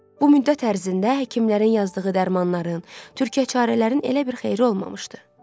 Bu müddət ərzində həkimlərin yazdığı dərmanların, türkəçarələrin elə bir xeyri olmamışdı.